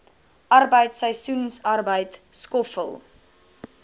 arbeid seisoensarbeid skoffel